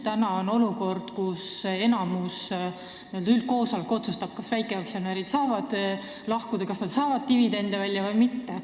Praegu on olukord, kus enamus, n-ö üldkoosolek, otsustab, kas väikeaktsionärid saavad lahkuda ja kas nad saavad dividendi välja võtta või mitte.